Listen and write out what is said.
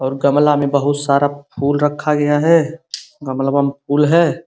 और गमला में बहूत सारा फूल रखा गया है। गमला में फूल है।